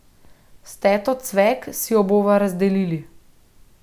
S teto Cvek si jo bova razdelili.